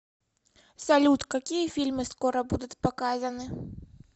салют какие фильмы скоро будут показаны